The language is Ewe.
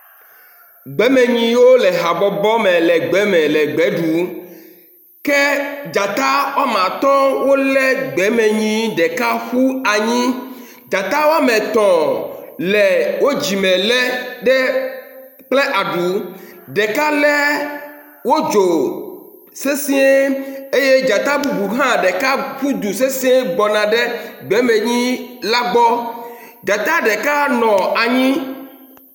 Gbemenyiwo le habɔbɔ me le gbe me le gbe ɖum ke dzata wome atɔ̃ wolé gbemenyi ɖeka ƒu anyi. Dzata wome etɔ̃ le wo dzime lé ɖe kple aɖu, ɖeka lé wo dzo sesɛ̃e eye dzata bubu hã ɖeka ƒu du sesɛ̃e gbɔna ɖe gbemenyi la gbɔ. Dzata ɖeka nɔ anyi.